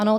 Ano.